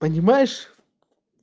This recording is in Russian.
понимаешь